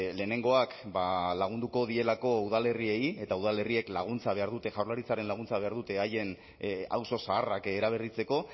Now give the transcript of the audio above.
lehenengoak ba lagunduko dielako udalerriei eta udalerriek laguntza behar dute jaurlaritzaren laguntza behar dute haien auzo zaharrak eraberritzeko